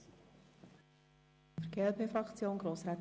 Ich nehme es vorweg: